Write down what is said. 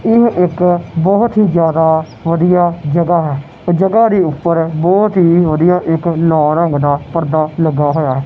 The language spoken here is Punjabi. ਇਹ ਇੱਕ ਬਹੁਤ ਹੀ ਜਿਆਦਾ ਵਧੀਆ ਜਗ੍ਹਾ ਹੈ ਜਗ੍ਹਾ ਦੇ ਉੱਪਰ ਬਹੁਤ ਹੀ ਵਧੀਆ ਇੱਕ ਲਾਲ ਰੰਗ ਦਾ ਪਰਦਾ ਲੱਗਾ ਹੋਇਐ--